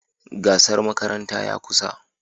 Gasar makaranta ya kusa.